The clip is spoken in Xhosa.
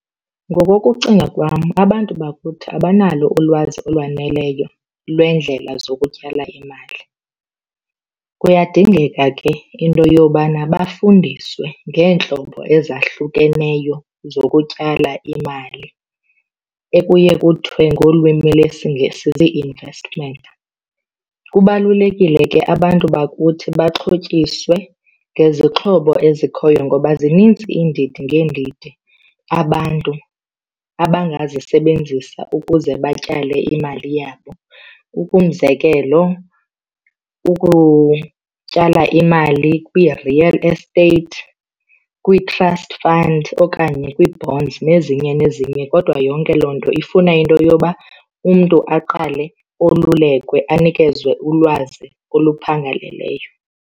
Ngokokucinga kwam abantu bakuthi abanalo ulwazi olwaneleyo lweendlela zokutyala imali. Kuyadingeka ke into yobana bafundiswe ngeentlobo ezahlukeneyo zokutyala imali ekuye kuthiwe ngolwimi lesiNgesi zii-investment. Kubalulekile ke abantu bakuthi baxhotyiswe ngezixhobo ezikhoyo ngoba zininzi iindidi ngeendidi abantu abangazisebenzisa ukuze batyale imali yabo. Ukumzekelo ukutyala imali kwi-real estate, kwii-trust fund okanye kwii-bonds, nezinye nezinye kodwa yonke loo nto ifuna into yoba umntu aqale olulekwe anikezwe ulwazi oluphangaleleyo.